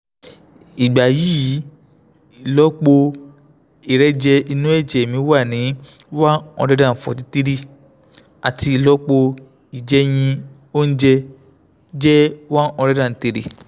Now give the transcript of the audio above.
ìgbà yìí ìlọ́po ìrẹ̀jẹ inú ẹ̀jẹ̀ mi wà ní one hundred forty three àti ìlọ́po ìjẹ̀yìn oúnjẹ jẹ́ one hundred three